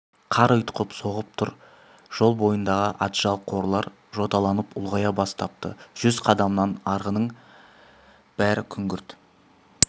қар ұйтқып соғып тұр жол бойындағы атжал қарлар жоталанып ұлғая бастапты жүз қадамнан арғының бәрі күңгірт